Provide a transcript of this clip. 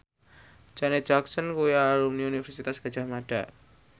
Janet Jackson kuwi alumni Universitas Gadjah Mada